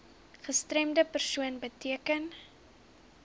gestremde persoon beteken